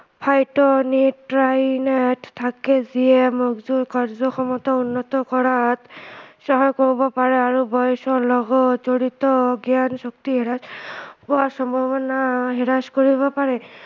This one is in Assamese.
phytonutrients থাকে যিয়ে মজদুৰ কাৰ্য্য়ক্ষমতা উন্নত কৰাত সহায় কৰিব পাৰে আৰু বয়সৰ লগত জড়িত জ্ঞান শক্তি হ্ৰাস হোৱা সম্ভাৱনা হ্ৰাস কৰিব পাৰে